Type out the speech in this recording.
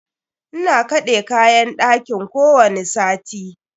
Ina kaɗe kayan ɗakin kowani sati.